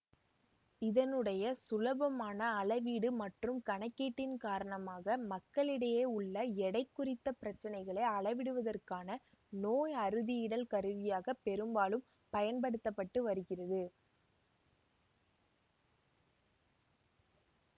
இதனுடைய சுலபமான அளவீடு மற்றும் கணக்கீட்டின் காரணமாக மக்களிடையே உள்ள எடை குறித்த பிரச்சினைகளை அளவிடுவதற்கான நோய் அறுதியிடல் கருவியாக பெரும்பாலும் பயன்படுத்த பட்டு வருகிறது